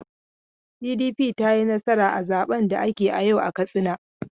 PDP ta yi nasara a zaben da aka yi yau a Katsina.